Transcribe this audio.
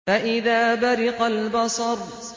فَإِذَا بَرِقَ الْبَصَرُ